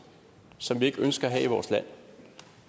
som vi ikke ønsker